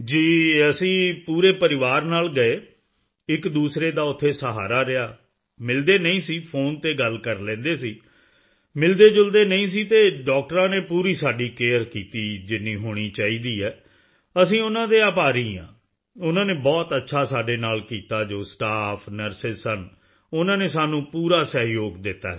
ਜੀ ਅਸੀਂ ਪੂਰੇ ਪਰਿਵਾਰ ਨਾਲ ਗਏ ਇੱਕਦੂਸਰੇ ਦਾ ਉੱਥੇ ਸਹਾਰਾ ਰਿਹਾ ਮਿਲਦੇ ਨਹੀਂ ਸੀ ਫ਼ੋਨ ਤੇ ਗੱਲ ਕਰ ਲੈਂਦੇ ਸੀ ਮਿਲਦੇਜੁਲਦੇ ਨਹੀਂ ਸੀ ਅਤੇ ਡਾਕਟਰਾਂ ਨੇ ਪੂਰੀ ਸਾਡੀ ਕੇਅਰ ਕੀਤੀ ਜਿੰਨੀ ਹੋਣੀ ਚਾਹੀਦੀ ਐ ਅਸੀਂ ਉਨ੍ਹਾਂ ਦੇ ਆਭਾਰੀ ਹਾਂ ਉਨ੍ਹਾਂ ਨੇ ਬਹੁਤ ਅੱਛਾ ਸਾਡੇ ਨਾਲ ਕੀਤਾ ਜੋ ਸਟਾਫ ਨਰਸ ਸਨ ਉਨ੍ਹਾਂ ਨੇ ਸਾਨੂੰ ਪੂਰਾ ਸਹਿਯੋਗ ਦਿੱਤਾ ਹੈ ਸਰ